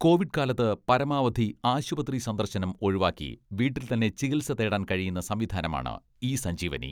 Covid കാലത്ത് പരമാവധി ആശുപത്രി സന്ദർശനം ഒഴിവാക്കി വീട്ടിൽ തന്നെ ചികിത്സ തേടാൻ കഴിയുന്ന സംവിധാനമാണ് ഇ സഞ്ജീവനി.